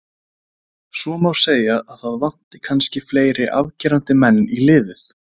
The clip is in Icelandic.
Svo má segja að það vanti kannski fleiri afgerandi menn í liðið.